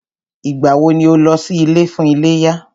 Ìgbà wọ ni o lọ sí ilé fún iléyá?